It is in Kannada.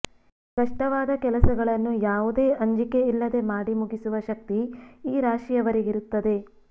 ಕಷ್ಟವಾದ ಕೆಲಸಗಳನ್ನು ಯಾವುದೇ ಅಂಜಿಕೆ ಇಲ್ಲದೆ ಮಾಡಿ ಮುಗಿಸುವ ಶಕ್ತಿ ಈ ರಾಶಿಯವರಿಗಿರುತ್ತದೆ